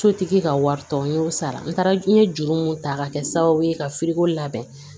Sotigi ka wari tɔ n y'o sara n taara n ye juru mun ta k'a kɛ sababu ye ka labɛn